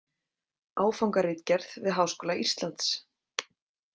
Áfangaritgerð við Háskóla Íslands.